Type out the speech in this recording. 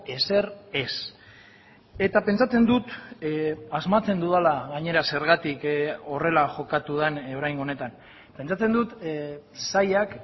ezer ez eta pentsatzen dut asmatzen dudala gainera zergatik horrela jokatu den oraingo honetan pentsatzen dut sailak